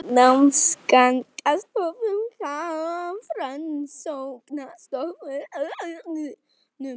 Námsgagnastofnun- Hafrannsóknastofnun.